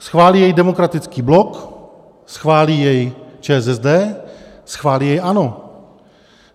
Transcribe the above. Schválí jej demokratický blok, schválí jej ČSSD, schválí jej ANO.